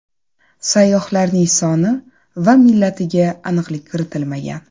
Sayyohlarning soni va millatiga aniqlik kiritilmagan.